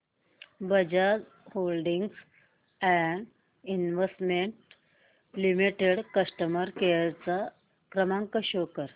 Bajaj holdings and investment limited customer care क्रमांक show कर